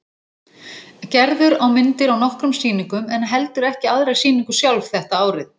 Gerður á myndir á nokkrum sýningum en heldur ekki aðra sýningu sjálf þetta árið.